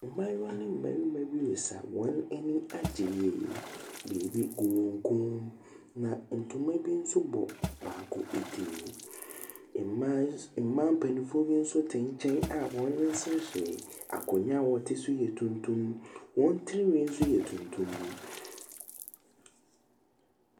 Mmaayewa ne mmarima bi resa. Wɔn ani agye yie. Biribi gu wɔn kɔn mu, na ntoma bi nso bɔ baako ti. Mmaay mmaa mpanimfoɔ bi nso te nkyɛn a wɔreseresere. Akonnwa a wɔte so yɛ tuntum. Wɔn tirinwi nso yɛ tuntum.